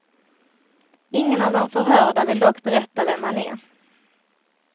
Ingen av de förhörda vill dock berätta vem han är.